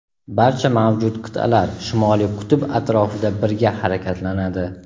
barcha mavjud qit’alar Shimoliy qutb atrofida birga harakatlanadi.